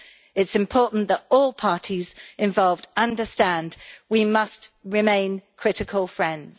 It is important that all parties involved understand we must remain critical friends.